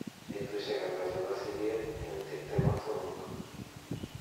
betusiek ata chebo siget en tiptem ak somok